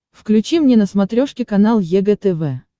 включи мне на смотрешке канал егэ тв